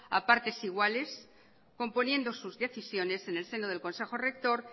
a partes iguales componiendo sus decisiones en el seno del consejo rector